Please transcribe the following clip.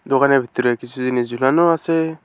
দোকানের ভিতরে কিছু জিনিস ঝুলানো আছে।